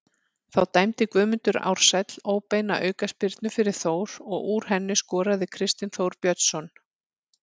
Þá dæmdi Guðmundur Ársæll óbeina aukaspyrnu fyrir Þór og úr henni skoraði Kristinn Þór Björnsson.